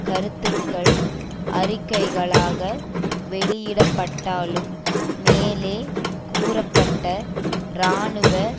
கருத்துக்கள் அறிக்கைகளாக வெளியிடப்பட்டாலும் மேலே கூறப்பட்ட இராணுவ